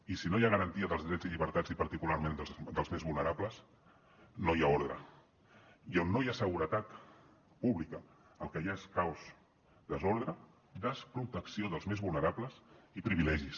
i si no hi ha garantia dels drets i llibertats i particularment dels més vulnerables no hi ha ordre i on no hi ha seguretat pública el que hi ha és caos desordre desprotecció dels més vulnerables i privilegis